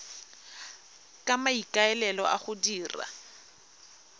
ka maikaelelo a go dira